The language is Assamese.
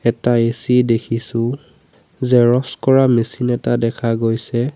এটা এ_চি দেখিছোঁ জেৰক্স কৰা মেচিন এটা দেখা গৈছে।